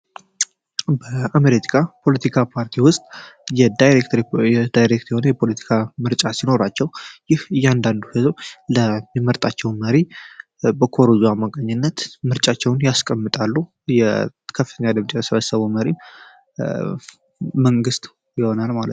በአሜሪካ ፖለቲካ ፓርቲ ውስጥ የዳይሬክሪ ዳይሬክት የሆነ የፖለቲካ ምርጫ ሲኖራቸው ይህ እያንዳንዱ ሕዘብ ለሚመርጣቸው መሪ በኮሩዛ አማካኝነት ምርጫቸውን ያስቀምጣሉ። የከፍተኛ ድምጽ የስበሰበው መሪ መንግስቱ ይሆናል ማለት ነው።